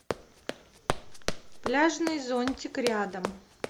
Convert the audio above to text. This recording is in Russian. пляжный зонтик рядом